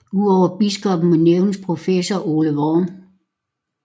Udover biskoppen må nævnes professor Ole Worm